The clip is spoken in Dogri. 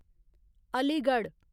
अलीगढ़